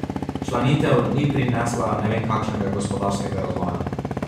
Včlanitev ni prinesla ne vem kakšnega gospodarskega razvoja.